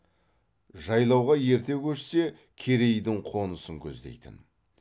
жайлауға ерте көшсе керейдің қонысын көздейтін